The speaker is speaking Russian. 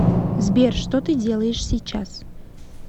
сбер что ты делаешь сейчас